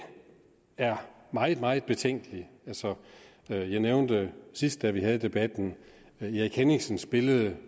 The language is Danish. er meget meget betænkelig altså jeg nævnte sidst da vi havde debatten erik henningsens billede